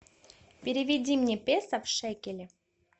переведи мне песо в шекели